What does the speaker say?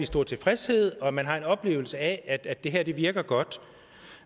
stor tilfredshed og at man har en oplevelse af at det her virker godt